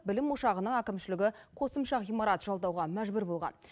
білім ошағының әкімшілігі қосымға ғимарат жалдауға мәжбүр болған